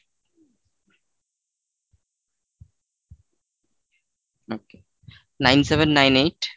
nine, seven, nine, eight,